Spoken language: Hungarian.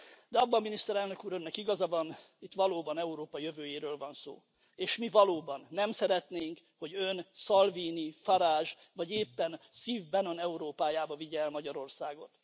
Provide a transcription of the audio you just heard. De abban, Miniszterelnök Úr, Önnek igaza van, hogy itt valóban Európa jövőjéről van szó, és mi valóban nem szeretnénk, hogy ön Salvini, Farage vagy éppen Steve Bannon Európájába vigye el Magyarországot.